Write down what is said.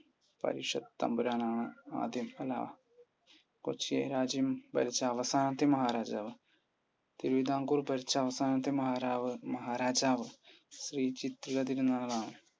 പരിഷത്ത് തമ്പുരാൻ ആണ് ആദ്യം അല്ല കൊച്ചി രാജ്യം ഭരിച്ച അവസാനത്തെ മഹാരാജാവ്? തിരുവിതാംകൂർ ഭരിച്ച അവസാനത്തെ മഹാരാവ് മഹാരാജാവ് ശ്രീ ചിത്തിരതിരുനാൾ ആണ്.